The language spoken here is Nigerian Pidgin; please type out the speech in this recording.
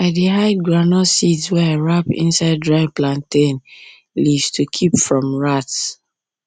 i dey hide groundnut seeds wey i wrap inside dry plantain dry plantain leaves to keep them from rats